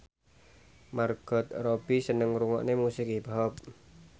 Margot Robbie seneng ngrungokne musik hip hop